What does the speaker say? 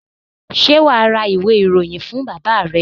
Ṣé wà á ra ìwé-ìròyìn fún bàbá rẹ?